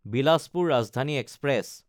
Bilaspur Rajdhani express